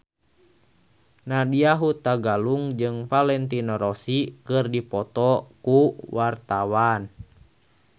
Nadya Hutagalung jeung Valentino Rossi keur dipoto ku wartawan